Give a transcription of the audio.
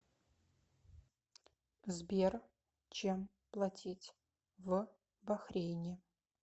сбер чем платить в бахрейне